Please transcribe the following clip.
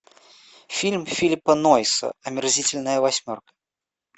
фильм филлипа нойса омерзительная восьмерка